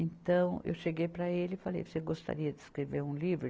Então, eu cheguei para ele e falei, você gostaria de escrever um livro?